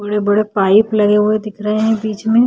बड़े-बड़े पाइप लगे हुए दिख रहे हैं बीच मैं--